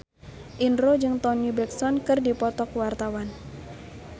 Indro jeung Toni Brexton keur dipoto ku wartawan